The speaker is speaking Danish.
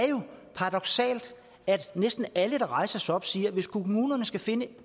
paradoksalt at næsten alle der rejser sig op siger at hvis kommunerne skal finde